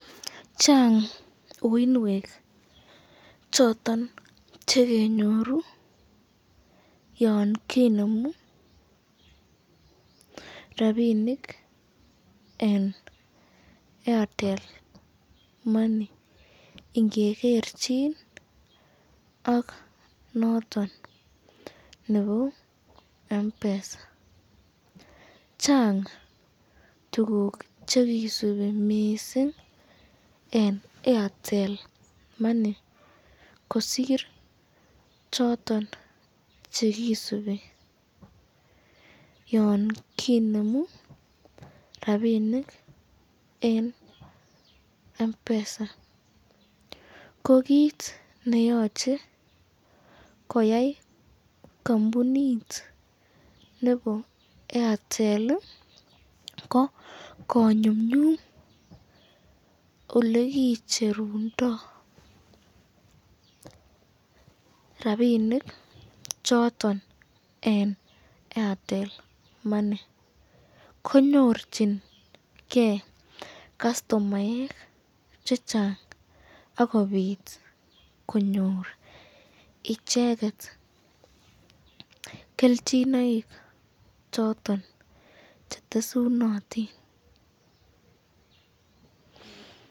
Chang uinwek choton chekenyoru yon kinemu rapinik eng Airtel money ingegerchin ak noton nebo Mpesa, Chang tukuk chekisubi mising eng Airtel money kosir choton chekisubi kinemu rapinik eng Mpesa ,ko kit neyoche koyai kampunit nebo Airtel ko konyumnyum olekicherundo rapinik choton eng Airtel money, konyorchiken kastomaek chechang akobit konyor icheket kelchinoik choton chetesunotin.